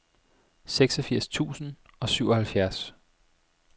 seksogfirs tusind og syvoghalvfjerds